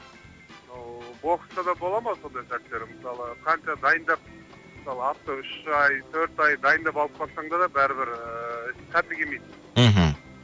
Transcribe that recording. мынау бокста да бола ма сондай сәттер мысалы қанша дайындап мысалы атты үш ай төрт ай дайындап алып барсаңда да бәрі бір сәті кемейді